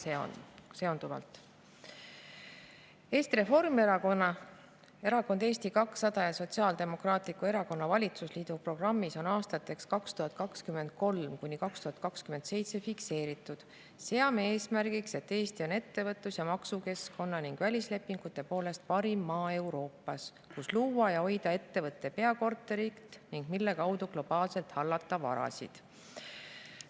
Eesti Reformierakonna, Erakonna Eesti 200 ja Sotsiaaldemokraatliku Erakonna valitsusliidu programmis on aastateks 2023–2027 fikseeritud: "Seame eesmärgiks, et Eesti on ettevõtlus- ja maksukeskkonna ning välislepingute poolest parim maa Euroopas, kus luua ja hoida ettevõtte peakorterit ning mille kaudu globaalselt hallata varasid.